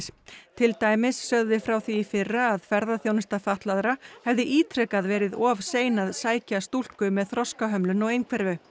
til dæmis sögðum við frá því í fyrra að ferðaþjónusta fatlaðra hefði ítrekað verið of sein að sækja stúlku með þroskahömlun og einhverfu